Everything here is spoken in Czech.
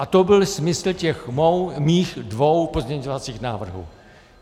A to byl smysl těch mých dvou pozměňovacích návrhů.